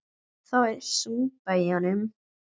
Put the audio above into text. Það er súpa í honum.